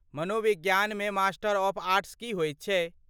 मनोविज्ञानमे master of arts की होयत छै?